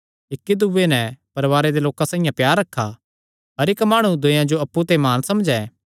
इक्की दूये नैं परवारे दे लोकां साइआं प्यार रखा हर इक्क माणु दूयेयां जो अप्पु ते म्हान समझैं